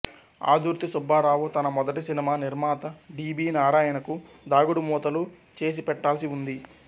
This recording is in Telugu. ఆదుర్తి సుబ్బారావు తన మొదటి సినిమా నిర్మాత డి బి నారాయణకు దాగుడు మూతలు చేసిపెట్టాల్సివుంది